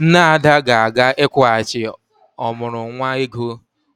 Nne Ada ga-aga ịkwụghachi ọmụrụ nwa ego